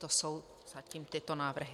To jsou zatím tyto návrhy.